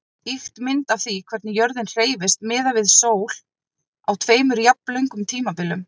Ýkt mynd af því hvernig jörðin hreyfist miðað við sól á tveimur jafnlöngum tímabilum.